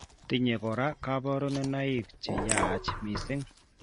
Tinye koraa kaborunoik cheyaach mising'